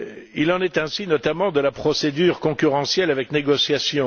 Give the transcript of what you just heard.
Il en est ainsi, notamment, de la procédure concurrentielle avec négociation.